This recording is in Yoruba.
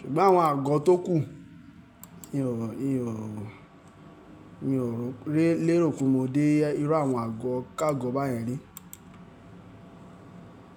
Ṣùgbọ́n àwọn àgọ́ tó kù, mi ò rò, mi ò lérò pe mo dé irú àwọn àgọ́ káàgọ́ báyẹn rí.